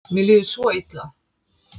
Mér líður svo illa.